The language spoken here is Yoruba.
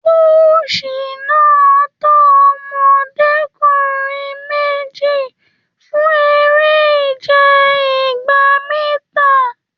Koosi náà tọ ọmọdekunrin méjì fún eré ìje igba mítà.